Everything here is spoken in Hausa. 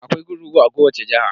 Akwai kurkuku a kowace jiha.